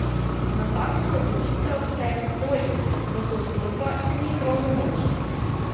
Na takšno odločitev se je pritožil, zato sodba še ni pravnomočna.